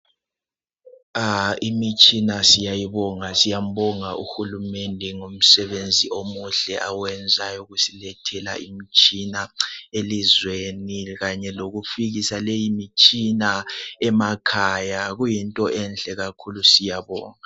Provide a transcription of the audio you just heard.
Ah imitshina siyayibonga, siyambonga uhulumende ngomsebenzi omuhle awenzayo wokusilethela imitshina elizweni kanye lokufikisa leyi mitshina emakhaya. Kuyinto enhle kakhulu . Siyabonga.